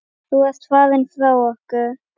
Þú ert farinn frá okkur.